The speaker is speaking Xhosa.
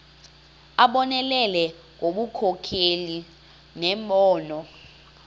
abonelele ngobunkokheli nembono